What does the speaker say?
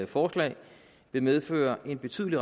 forslag vil medføre en betydelig